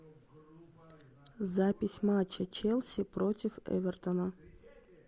запись матча челси против эвертона